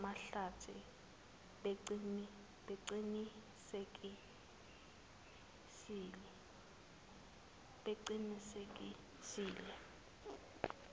neza mahlathi beqinisekisile